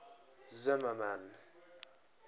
zimmermann